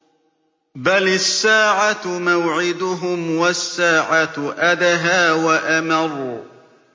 بَلِ السَّاعَةُ مَوْعِدُهُمْ وَالسَّاعَةُ أَدْهَىٰ وَأَمَرُّ